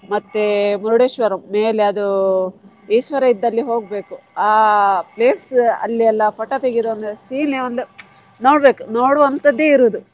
ಮತ್ತೆ Murdeshwar ಮೇಲೆ ಅದು ಈಶ್ವರ ಇದ್ದಲ್ಲಿ ಹೋಗ್ಬೇಕು ಆ place ಅಲ್ಲಿ ಎಲ್ಲ photo ತೆಗಿಯುದಂದ್ರೆ scene ನೆ ಒಂದ್ ನೋಡ್ಬೇಕು, ನೋಡುವಂತದ್ದೆ ಇರುದು.